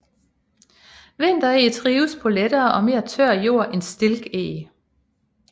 Vintereg trives på lettere og mere tør jord end stilkeg